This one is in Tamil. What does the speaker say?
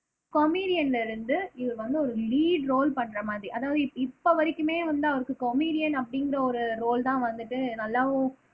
கமிடியன்ல இருந்து இவர் வந்து ஒரு லீட் ரோல் பண்றமாறி அதாவது இப்ப வரைக்குமே வந்து அவருக்கு கமிடியன் அப்படிங்கிற ஒரு ரோல்தான் வந்துட்டு நல்லாவும்